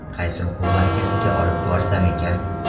Qaysi o‘quv markaziga olib borsam ekan?